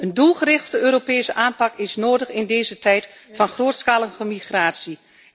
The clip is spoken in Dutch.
Een doelgerichte Europese aanpak is nodig in deze tijd van grootschalige migratie.